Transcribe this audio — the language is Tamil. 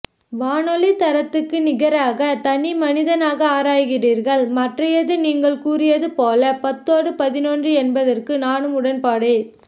வானொலித்தரத்துக்கு நிகராக தனி மனிதனாக ஆராய்கிறீர்கள் மற்றையது நீங்கள் கூறியது பொல பத்தோடு பதினொன்று என்பதற்கு நானும் உடன்பாடே